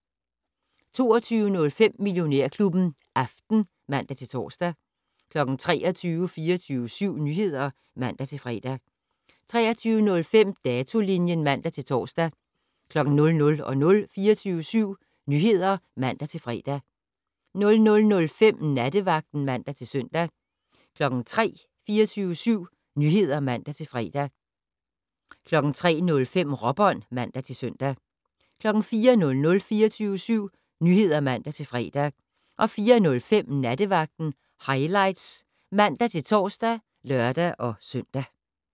22:05: Millionærklubben Aften (man-tor) 23:00: 24syv Nyheder (man-fre) 23:05: Datolinjen (man-tor) 00:00: 24syv Nyheder (man-fre) 00:05: Nattevagten (man-søn) 03:00: 24syv Nyheder (man-fre) 03:05: Råbånd (man-søn) 04:00: 24syv Nyheder (man-fre) 04:05: Nattevagten Highlights (man-tor og lør-søn)